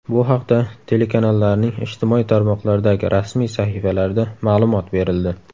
Bu haqda telekanallarning ijtimoiy tarmoqlardagi rasmiy sahifalarida ma’lumot berildi.